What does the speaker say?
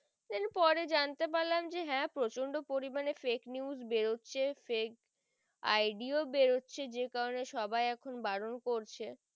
then পরে জানতে পারলাম যে হ্যা প্রচন্ড পরিমানে fakenews বেরোচ্ছে fake ID ও বেরোচ্ছে যে কারণে সবাই এখন বারণ করছে।